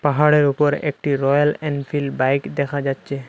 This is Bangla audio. পাহাড়ের উপর একটি রয়্যাল এনফিল্ড বাইক দেখা যাচ্ছে।